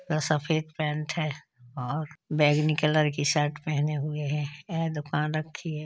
सफेद पैंट है और बैगनी कलर की शर्ट पेहने हुए है। यह दूकान रखी है।